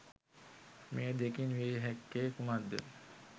මේ දෙකින් විය හැක්කේ කුමක්ද?